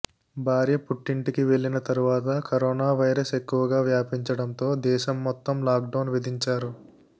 భార్య పుట్టింటికి వెళ్లిన తరువాత కరోనా వైరస్ ఎక్కువగా వ్యాపించడంతో దేశం మొత్తం లాక్ డౌన్ విధించారు